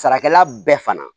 Sarakɛla bɛɛ fana